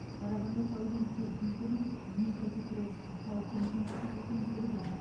қарағанды тау кен техникумын днепропетровск тау кен институтын бітірген